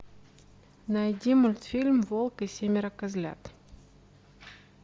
найди мультфильм волк и семеро козлят